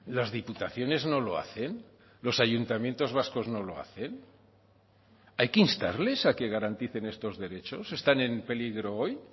las diputaciones no lo hacen los ayuntamientos vascos no lo hacen hay que instarles a que garanticen estos derechos están en peligro hoy